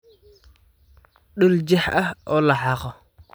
Dhul jeex ah oo la xaaqo.